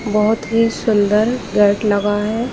बहुत ही सुन्दर गेट लगा है ।